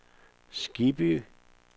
Skibby